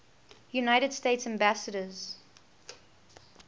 united states ambassadors